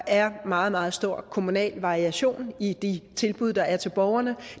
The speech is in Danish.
er meget meget stor kommunal variation i de tilbud der er til borgerne